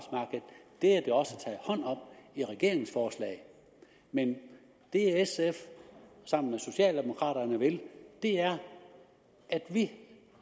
det er der også taget hånd om i regeringsforslaget men det sf sammen med socialdemokraterne vil er at vi